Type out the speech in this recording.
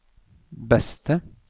beste